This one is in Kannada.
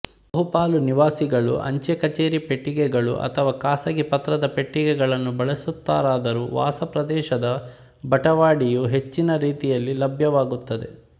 ಬಹುಪಾಲು ನಿವಾಸಿಗಳು ಅಂಚೆ ಕಚೇರಿ ಪೆಟ್ಟಿಗೆಗಳು ಅಥವಾ ಖಾಸಗಿ ಪತ್ರದ ಪೆಟ್ಟಿಗೆಗಳನ್ನು ಬಳಸುತ್ತಾರಾದರೂ ವಾಸಪ್ರದೇಶದ ಬಟವಾಡೆಯು ಹೆಚ್ಚಿನ ರೀತಿಯಲ್ಲಿ ಲಭ್ಯವಾಗುತ್ತಿದೆ